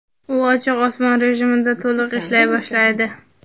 u "ochiq osmon" rejimida to‘liq ishlay boshlaydi.